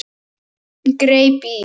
Hún greip í